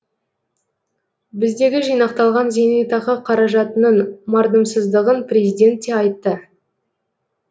біздегі жинақталған зейнетақы қаражатының мардымсыздығын президент те айтты